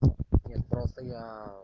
нет просто я